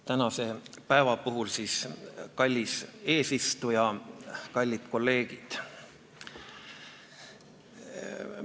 Tänase päeva puhul ütlen siis, et kallis eesistuja ja kallid kolleegid!